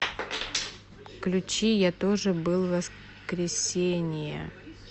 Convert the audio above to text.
включи я тоже был воскресение